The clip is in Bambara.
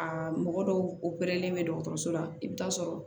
Aa mɔgɔ dɔw operelen bɛ dɔgɔtɔrɔso la i bɛ taa sɔrɔ